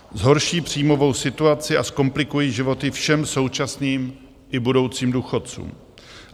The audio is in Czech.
Zhorší příjmovou situaci a zkomplikují životy všem současným i budoucím důchodcům.